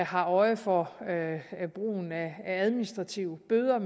har øje for brugen af administrative bøder